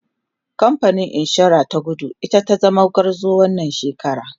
kamfanin insura ta kudu ita zata zama gwarzon wannan shekara